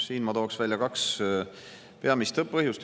Siin ma toon välja kaks peamist põhjust.